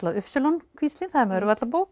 y kvíslin það er